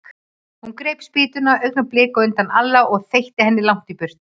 Hún greip spýtuna augnabliki á undan Alla og þeytti henni langt í burtu.